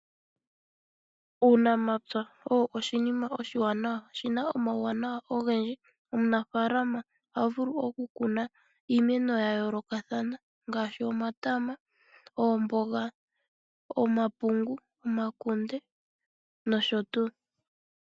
Uunamapya owo oshinima oshiwana ,oshina omawuwanawa ogendji ngaashi omunafaama ohavulu oku Kuna iimeno yayoloka thana ngaashi oodogs, omatama, omapungu omakunde nosho tuu.